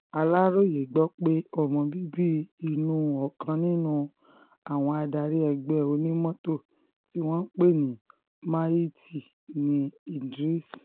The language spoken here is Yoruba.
aláròye gbọ́ pé ọmọ bíbí inú ọkàn nínú àwọn adarí ẹgbẹ́ onímọ́tò tí wọ́n ń pè ní al-mahiti ní idris